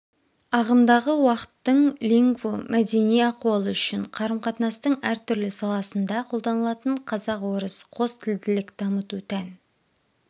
ағымдағы уақыттың лингво мәдени ахуалы үшін қарым-қатынастың әртүрлі саласында қолданылатын қазақ-орыс қос тілділік дамыту тән